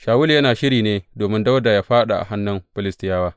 Shawulu yana shiri ne domin Dawuda yă fāɗa a hannun Filistiyawa.